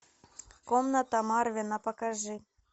комната марвина покажи